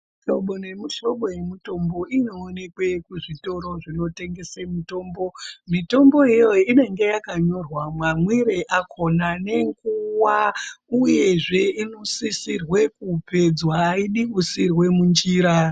Mihlobo nemihlobo yemitombo inowonekwe kuzvitoro zvinotengese mitombo, mitomboyo iyoyo inenge yakanyorwa mamwire akona nenguwa uyezve inosisirwe kupedzwa, ayidi kusiyirwe munjira.